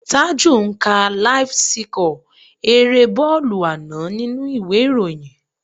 Taju ń ka láíf síkọ̀ erée bọ́ọ̀lù àná nínú ìwé ìròyìn